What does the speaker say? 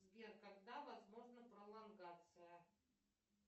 сбер когда возможна пролонгация